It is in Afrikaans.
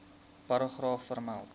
paragraaf vermeld